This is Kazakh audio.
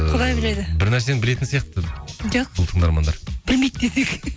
құдай біледі бір нәрсені білетін сияқты жоқ бұл тыңдармандар білмейді десең